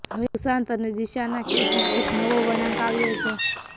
હવે સુશાંત અને દિશાના કેસમાં એક નવો વળાંક આવ્યો છે